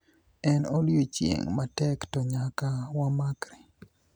en odiochieng' matek to nyaka wamakre